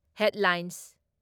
headlines